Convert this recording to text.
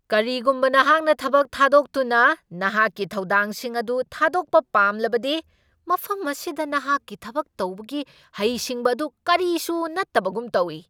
ꯀꯔꯤꯒꯨꯝꯕ ꯅꯍꯥꯛꯅ ꯊꯕꯛ ꯊꯥꯗꯣꯛꯇꯨꯅ ꯅꯍꯥꯛꯀꯤ ꯊꯧꯗꯥꯡꯁꯤꯡ ꯑꯗꯨ ꯊꯥꯗꯣꯛꯄ ꯄꯥꯝꯂꯕꯗꯤ ꯃꯐꯝ ꯑꯁꯤꯗ ꯅꯍꯥꯛꯀꯤ ꯊꯕꯛ ꯇꯧꯕꯒꯤ ꯍꯩ ꯁꯤꯡꯕ ꯑꯗꯨ ꯀꯔꯤꯁꯨ ꯅꯠꯇꯕꯒꯨꯝ ꯇꯧꯏ꯫